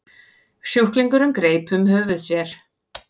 Sjúklingurinn greip um höfuð sér.